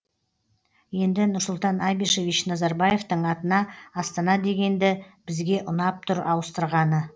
енді нұрсұлтан абишевич назарбаевтың атына астана дегенді бізге ұнап тұр ауыстырғаны